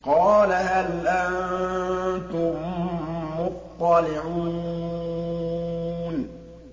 قَالَ هَلْ أَنتُم مُّطَّلِعُونَ